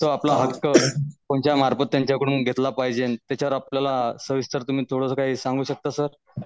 Sir आपलं तुमच्या मार्फत त्यांच्याकडून घेतला पाहिजे त्याच्यावर आपल्याला सविस्तर तुम्ही काय सांगू शकता सर?